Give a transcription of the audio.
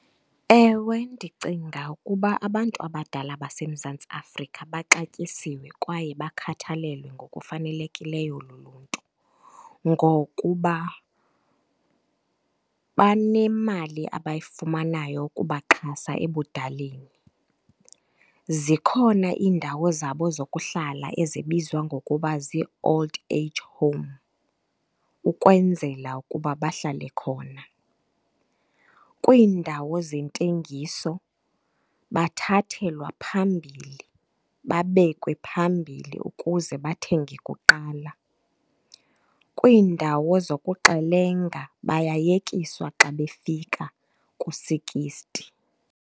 Ewe, ndicinga ukuba abantu abadala baseMzantsi Afrika baxatyisiwe kwaye bakhathalelwe ngokufanelekileyo luluntu, ngokuba banemali abayifumanayo ukubaxhasa ebudaleni. Zikhona iindawo zabo zokuhlala ezibizwa ngokuba zii-Old Age Home ukwenzela ukuba bahlale khona. Kwiindawo zentengiso bathathelwa phambili babekwa phambili ukuze bathenge kuqala. Kwiindawo zokuxelenga bayayekiswa xa befika ku-sixty.